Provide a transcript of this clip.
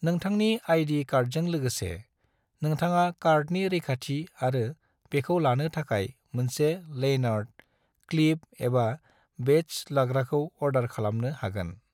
नोंथांनि आई.डी. कार्डजों लोगोसे, नोंथाङा कार्डनि रैखाथि आरो बेखौ लानो थाखाय मोनसे लैनार्ड, क्लिप एबा बेडज लाग्राखौ अर्डर खालामनो हागोन।